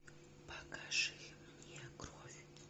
покажи мне кровь